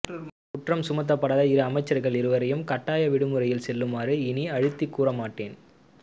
குற்றம் சுமத்தப்படாத இரு அமைச்சர்கள் இருவரையும் கட்டாய விடுமுறையில் செல்லுமாறு இனி அழுத்திக் கூற மாட்டேன்